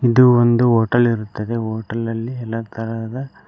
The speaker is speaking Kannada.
ಇದು ಒಂದು ಹೋಟೆಲ್ ಇರುತ್ತದೆ ಹೋಟೆಲ್ ಅಲ್ಲಿ ಎಲ್ಲ ತರಹದ--